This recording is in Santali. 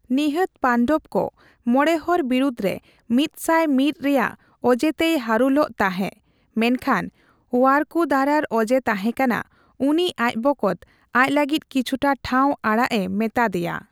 ᱱᱤᱦᱟᱹᱛ ᱯᱟᱱᱰᱚᱵᱠᱚ ᱢᱚᱬᱮᱦᱚᱲ ᱵᱤᱨᱩᱫᱨᱮ ᱢᱤᱫᱥᱟᱭ ᱢᱤᱫ ᱨᱮᱭᱟᱜ ᱚᱡᱮᱛᱮᱭ ᱦᱟᱨᱩᱞᱚᱜ ᱛᱟᱦᱮᱸ, ᱢᱮᱱᱠᱷᱟᱱ ᱳᱭᱟᱨᱠᱩᱫᱟᱨᱟᱨ ᱚᱡᱮ ᱛᱟᱦᱮᱸ ᱠᱟᱱᱟ, ᱩᱱᱤ ᱟᱡ ᱵᱚᱠᱚᱛ ᱟᱡ ᱞᱟᱹᱜᱤᱫ ᱠᱤᱪᱷᱩᱴᱟ ᱴᱷᱟᱣ ᱟᱲᱟᱜ ᱮ ᱢᱮᱛᱟ ᱫᱮᱭᱟ ᱾